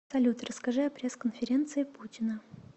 салют расскажи о пресс конференции путина